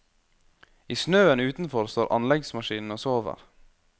I snøen utenfor står anleggsmaskinene og sover.